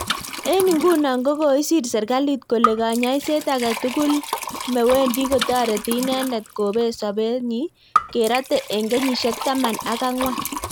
Eng nguno ko koisir serkalit kole kanyasiet age tugul me Wendi kotoreti inendet kopet sobet nyi kerate eng kenyisiek taman ak angwan